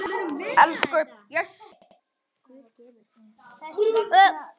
Elsku Bjössi, Guð geymi þig.